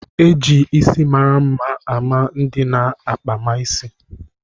E ji isi mara mma a ma ndị na-akpama isi.